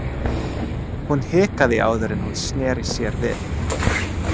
Hún hikaði áður en hún sneri sér við.